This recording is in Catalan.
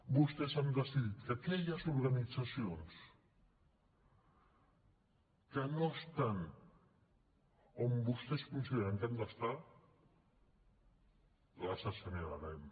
vostès han decidit que aquelles organitzacions que no estan on vostès consideren que han d’estar les assenyalarem